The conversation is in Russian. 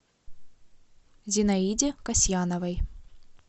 зинаиде касьяновой